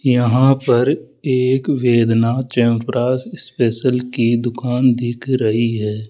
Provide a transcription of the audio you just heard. यहां पर एक वेदना च्यवनप्राश स्पेशल की दुकान दिख रही है।